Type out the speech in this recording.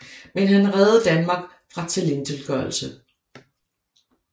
Men han reddede Danmark fra tilintetgørelse